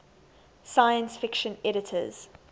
science fiction editors